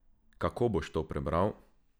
Kako boš to prebral?